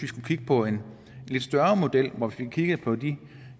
skulle kigge på en lidt større model hvor man fik kigget på de